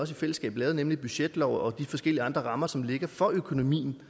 selvfølgelig den budgetlov og de forskellige rammer som ligger for økonomien